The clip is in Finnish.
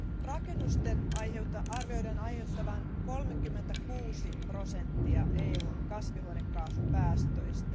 Rakennusten arvioidaan aiheuttavan 36 prosenttia EUn kasvihuonekaasupäästöistä.